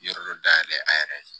Yɔrɔ dɔ dayɛlɛ a yɛrɛ ye